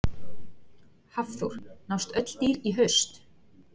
Hafþór: Nást öll dýr í haust?